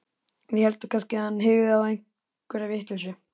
Við héldum kannski að hann hygði á einhverja vitleysu.